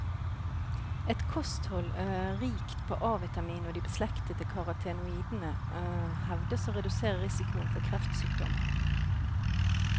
Et kosthold rikt på A-vitamin og de beslektede karotenoidene hevdes å redusere risikoen for kreftsykdommer.